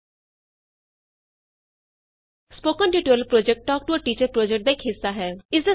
spoken tutorial project talk to a teacher project ਦਾ ਇਕ ਹਿੱਸਾ ਹੈ